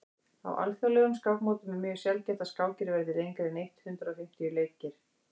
á alþjóðlegum skákmótum er mjög sjaldgæft að skákir verði lengri en eitt hundruð fimmtíu leikir